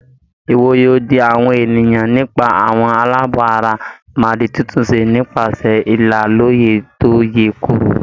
Ìwòye òdì àwọn ènìyàn nípa àwọn aláàbọ̀ ara máa di títúnṣe nípasẹ̀ ìlà lọ́yè tó yè Kooro.